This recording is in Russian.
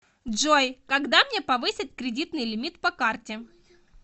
джой когда мне повысят кредитный лимит по карте